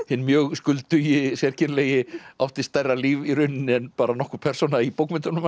hinn mjög skuldugi sérkennilegi átti stærra líf í rauninni en nokkur persóna í bókmenntunum